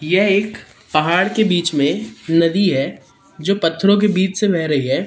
यह एक पहाड़ के बीच में नदी है जो पत्थरों के बीच से बेह रही है।